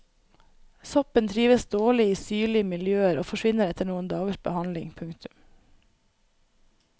Soppen trives dårlig i syrlige miljøer og forsvinner etter noen dagers behandling. punktum